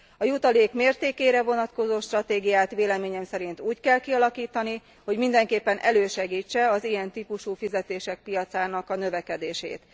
A jutalék mértékére vonatkozó stratégiát véleményem szerint úgy kell kialakítani, hogy mindenképpen elősegítse az ilyen típusú fizetések piacának a növekedését.